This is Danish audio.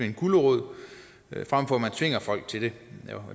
en gulerod frem for at man tvinger folk til det